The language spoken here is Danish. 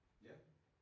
Ja